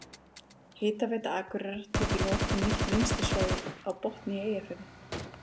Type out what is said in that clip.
Hitaveita Akureyrar tók í notkun nýtt vinnslusvæði á Botni í Eyjafirði.